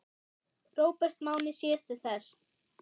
Róbert Máni sér til þess.